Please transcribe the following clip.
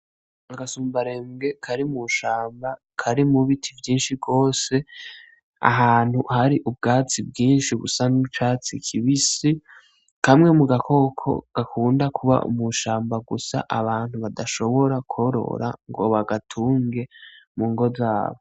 Agasumbarembwe kari mushamba kari mu biti vyinshi gose ahantu hari ubwatsi bwinshi busa nicatsi kibisi kamwe mugakoko gakunda kuba mushamba gusa abantu badashobora kworora ngo bagatunge mungo zabo.